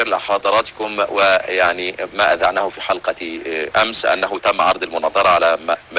я